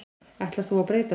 Ætlar þú að breyta þessu?